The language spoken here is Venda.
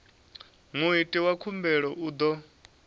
muiti wa khumbelo u ḓo